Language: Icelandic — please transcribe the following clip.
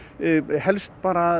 helst bara